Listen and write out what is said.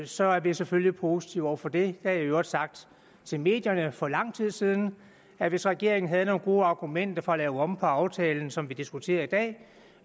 så er vi selvfølgelig positive over for det jeg har i øvrigt sagt til medierne for lang tid siden at hvis regeringen havde nogle gode argumenter for at lave om på aftalen som vi diskuterer i dag